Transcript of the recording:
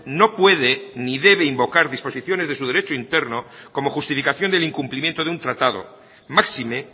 no puede ni debe invocar disposiciones de su derecho interno como justificación del incumplimiento de un tratado máxime